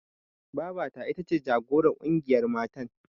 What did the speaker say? Babata ita ce jagorar ƙungiyar matan.